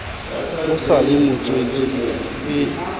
o sa le motswetse e